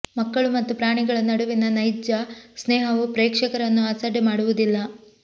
ಮಕ್ಕಳು ಮತ್ತು ಪ್ರಾಣಿಗಳ ನಡುವಿನ ನೈಜ ಸ್ನೇಹವು ಪ್ರೇಕ್ಷಕರನ್ನು ಅಸಡ್ಡೆ ಮಾಡುವುದಿಲ್ಲ